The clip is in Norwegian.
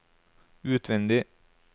utvendig